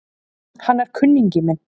Hann er kunningi minn